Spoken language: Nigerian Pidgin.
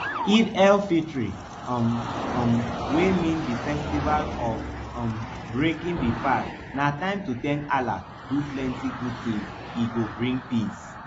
eidelfitr um um wey mean di festival of um breaking di fast na time to thank allah do plenti good tins ey go bring peace